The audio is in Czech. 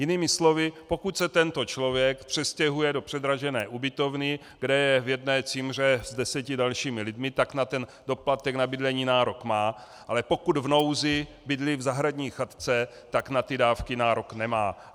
Jinými slovy, pokud se tento člověk přestěhuje do předražené ubytovny, kde je v jedné cimře s deseti dalšími lidmi, tak na ten doplatek na bydlení nárok má, ale pokud v nouzi bydlí v zahradní chatce, tak na ty dávky nárok nemá.